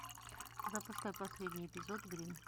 запускай последний эпизод гримм